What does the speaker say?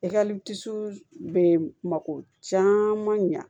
I ka bɛ mako caman ɲa